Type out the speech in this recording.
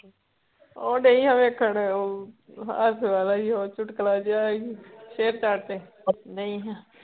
ਓ ਡਈ ਆ ਵੇਖਣ ਓ ਹਾਸੇ ਵਾਲਾ ਹੀ ਉਹ ਚੁਟਕਲਾ ਜੇਆ ਹੀ ਸ਼ੇਅਰ ਚੈਟ ਤੇ ਨਈ ਆ